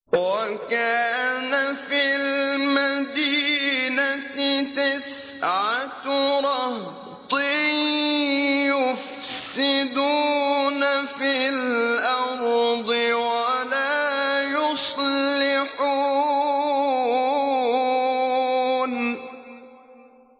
وَكَانَ فِي الْمَدِينَةِ تِسْعَةُ رَهْطٍ يُفْسِدُونَ فِي الْأَرْضِ وَلَا يُصْلِحُونَ